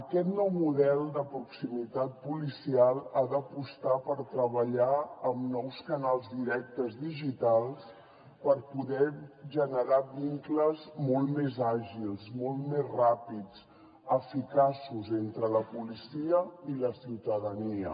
aquest nou model de proximitat policial ha d’apostar per treballar amb nous canals directes digitals per poder generar vincles molt més àgils molt més ràpids eficaços entre la policia i la ciutadania